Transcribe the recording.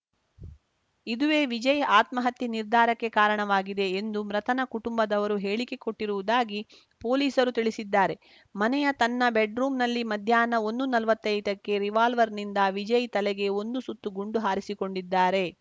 ಇದುವೇ ವಿಜಯ್‌ ಆತ್ಮಹತ್ಯೆ ನಿರ್ಧಾರಕ್ಕೆ ಕಾರಣವಾಗಿದೆ ಎಂದು ಮೃತನ ಕುಟುಂಬದವರು ಹೇಳಿಕೆ ಕೊಟ್ಟಿರುವುದಾಗಿ ಪೊಲೀಸರು ತಿಳಿಸಿದ್ದಾರೆ ಮನೆಯ ತನ್ನ ಬೆಡ್‌ರೂಮ್‌ನಲ್ಲಿ ಮಧ್ಯಾಹ್ನ ಒಂದು ನಲ್ವತ್ತೈದಕ್ಕೆ ರಿವಾಲ್ವರ್‌ನಿಂದ ವಿಜಯ್‌ ತಲೆಗೆ ಒಂದು ಸುತ್ತು ಗುಂಡು ಹಾರಿಸಿಕೊಂಡಿದ್ದಾರೆ